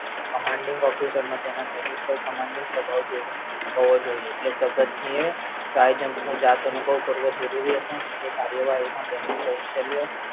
Commanding Officer નો તેના સૈનિકો પર commanding સ્વાભાવ હોવો જોયે એટલે જગતસિંહ એ sky jump નો જાત અનુભવ કરવો જરૂરી હતો અને તે કાર્યવાહીમા તેમનું કોઉશલ્ય